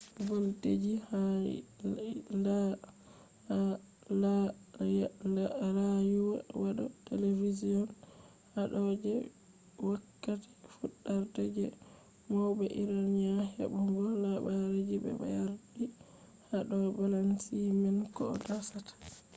voldeji ha rayuwa hado television hado je wokkati fudarde je maube iranian hebugo habarji be yardi hado babanci man koh dasata